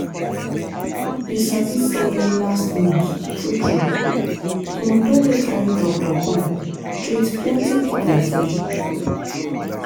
you sabi say last month true true the moto wey carry doctor come treat plenty people free.